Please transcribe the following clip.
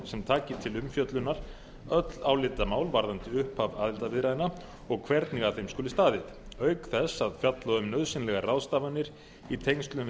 sem taki til umfjöllunar öll álitamál varðandi upphaf aðildarviðræðna og hvernig að þeim skuli staðið auk þess að fjalla um nauðsynlegar ráðstafanir í tengslum við